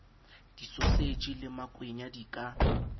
disoseji le makwenya di ka